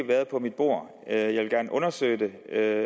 været på mit bord jeg vil gerne undersøge det